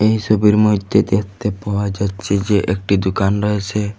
এই ছবির মইধ্যে দেখতে পাওয়া যাচ্ছে যে একটি দুকান রয়েছে।